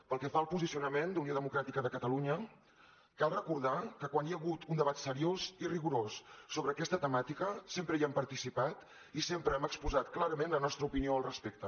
pel que fa al posicionament d’unió democràtica de catalunya cal recordar que quan hi ha hagut un debat seriós i rigorós sobre aquesta temàtica sempre hi hem participat i sempre hem exposat clarament la nostra opinió al respecte